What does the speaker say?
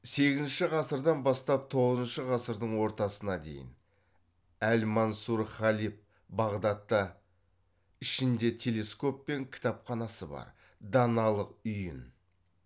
сегізінші ғасырдан бастап тоғызыншы ғасырдың ортасына дейін әл мансұр халиф бағдатта ішінде телескоп пен кітапханасы бар даналық үйін